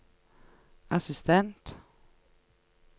assistent